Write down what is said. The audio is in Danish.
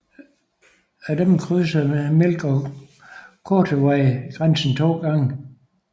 Af disse krydser Milk og Kootenay grænsen to gange